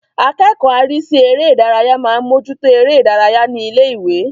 Akẹ́kọ̀ọ́ arísí eré ìdárayá máa ń mójú tó eré ìdárayá ní ilé-ìwé.